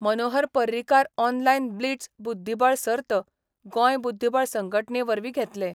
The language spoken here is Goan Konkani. मनोहर पर्रीकार ऑनलायन ब्लिट्झ बुद्धीबळ सर्त गोंय बुद्धीबळ संघटणे वरवीं घेतले.